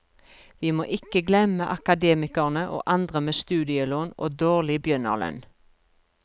Vi må ikke glemme akademikerne og andre med studielån og dårlig begynnerlønn.